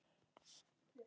Eins óþæg og ég?